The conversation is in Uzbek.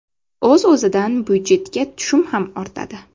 O‘z-o‘zidan byudjetga tushum ham ortadi.